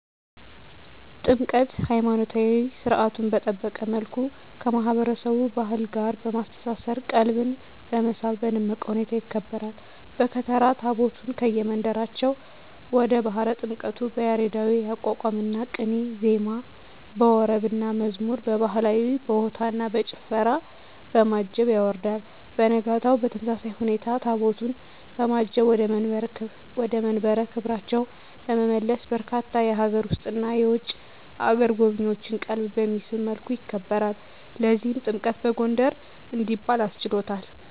ጥምቀት!! ሀይማኖታዊ ሰርዓቱን በጠበቀ መልኩ ከማህበረሰቡ ባህል ጋር በማስተሳሰር ቀልብን በመሳብ በደመቀ ሁኔታ ይከበራል። በከተራ ታቦታቱን ከየመንበራቸው ወደ ባህረ ጥምቀቱ በያሬዳዊ የአቋቋምና ቅኔ ዜማ፣ በወረብና መዝሙር፣ በባህላዊ በሆታና በጭፈራ፣ በማጀብ ያወርዳል። በነጋታው በተመሳሳይ ሁኔታ ታቦታቱን በማጀብ ወደ መንበረ ክብራቸው በመመለስ በርካታ የሀገር ውስጥና የውጭ አገር ጎብኚዎችን ቀልብ በሚስብ መልኩ ያከብራል። ለዚህም ጥምቀትን በጎንደር እንዲባል አስችሎታል!!